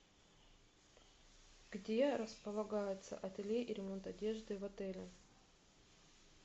где располагается ателье и ремонт одежды в отеле